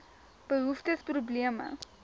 behoeftes probleme